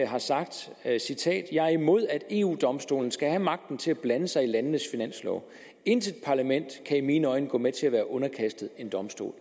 har sagt og jeg citerer jeg er imod at eu domstolen skal have magten til at blande sig i landenes finanslov intet parlament kan i mine øjne gå med til at være underkastet en domstol